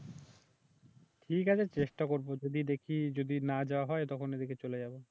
ঠিক আছে চেষ্টা করব যদি দেখি যদি না যাওয়া হয় তখন এদিকে চলে যাব